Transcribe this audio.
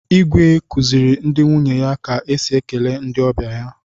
Igwe kuziri ndi nwunye ya ka esi ekele ndị ọbịa ya.